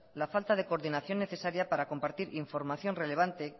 la falta de coordinación necesaria para compartir información relevante